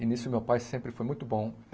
E nisso meu pai sempre foi muito bom.